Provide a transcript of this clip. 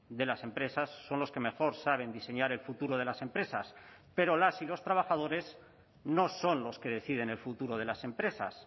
de las empresas son los que mejor saben diseñar el futuro de las empresas pero las y los trabajadores no son los que deciden el futuro de las empresas